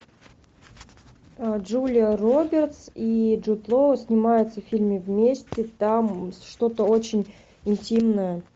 джулия робертс и джуд лоу снимаются в фильме вместе там что то очень интимное